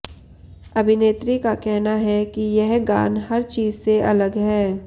अभिनेत्री का कहना है कि यह गान हर चीज से अलग है